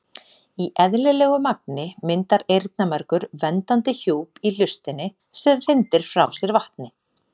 Í eðlilegu magni myndar eyrnamergur verndandi hjúp í hlustinni sem hrindir frá sér vatni.